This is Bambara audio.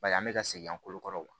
Bari an bɛ ka segin an ko kɔrɔ